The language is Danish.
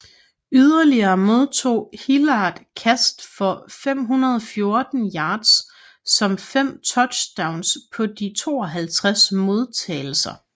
Yderligere modtog Hilliard kast for 514 yards som fem touchdowns på de 52 modtagelser